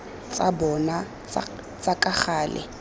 tsa bona tsa ka gale